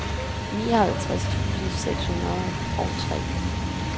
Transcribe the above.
nioghalvtreds tusind seks hundrede og tre